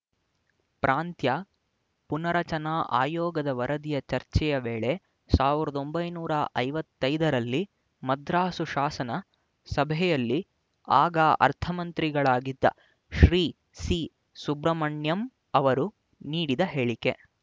ಪ್ರಾಂತ್ಯ ಪುನಾರಚನಾ ಆಯೋಗದ ವರದಿಯ ಚರ್ಚೆಯ ವೇಳೆ ಸಾವಿರದ ಒಂಬೈನೂರ ಐವತ್ತ್ ಐದರಲ್ಲಿ ಮದ್ರಾಸು ಶಾಸನ ಸಭೆಯಲ್ಲಿ ಆಗ ಅರ್ಥಮಂತ್ರಿಗಳಾಗಿದ್ದ ಶ್ರೀ ಸಿಸುಬ್ರಹ್ಮಣ್ಯಮ್ ಅವರು ನೀಡಿದ ಹೇಳಿಕೆ